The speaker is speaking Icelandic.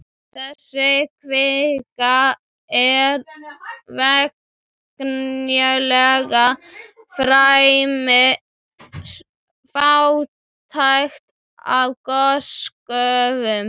Þessi kvika er venjulega fremur fátæk af gosgufum.